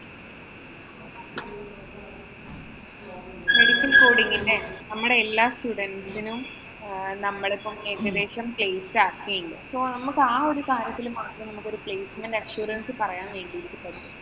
medical coding ന്‍റെ നമ്മടെ എല്ലാ students നും നമ്മളിപ്പം ഏകദേശം placed ആക്കിണ്ട്. So നമ്മക്ക് ഒരു കാര്യത്തില് മാത്രം നമുക്ക് ഒരു placement assurance പറയാന്‍ വേണ്ടീട്ട് പറ്റും.